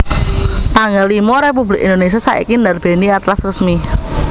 tanggal limo Republik Indonesia saiki ndarbèni Atlas Resmi